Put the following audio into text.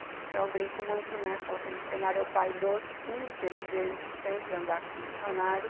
Então, eu brinco muito, né, falo sempre, dicionário é o pai do inteligente, sempre andar com dicionário.